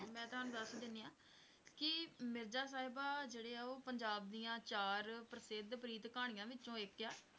ਮੈਂ ਤੁਹਾਨੂੰ ਦੱਸ ਦਿੰਦੀ ਹਾਂ ਕਿ ਮਿਰਜ਼ਾ ਸਾਹਿਬਾਂ ਜਿਹੜੇ ਆ ਉਹ ਪੰਜਾਬ ਦੀਆਂ ਚਾਰ ਪ੍ਰਸਿੱਧ ਪ੍ਰੀਤ ਕਹਾਣੀਆਂ ਵਿੱਚੋਂ ਇੱਕ ਹੈ।